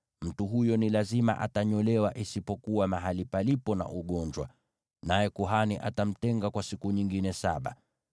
mtu huyo ni lazima anyolewe, isipokuwa mahali palipo na ugonjwa, naye kuhani atamtenga kwa siku nyingine saba.